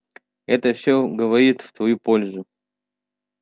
это все говорит в твою пользу